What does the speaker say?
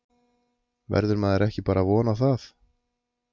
Verður maður ekki bara að vona það?